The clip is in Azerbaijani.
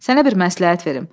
Sənə bir məsləhət verim.